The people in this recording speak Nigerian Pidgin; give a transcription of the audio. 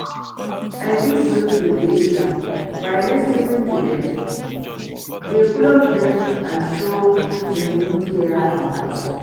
i fit build di relationships by lis ten ing to dem, dey close to dem and show genuine care and concern.